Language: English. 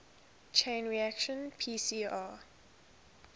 chain reaction pcr